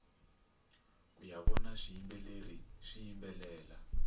kuya vona swiyimbeleri swiyimbelela